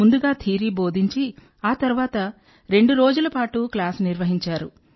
ముందుగా థియరీ బోధించి ఆ తర్వాత రెండు రోజుల పాటు క్లాస్ నిర్వహించారు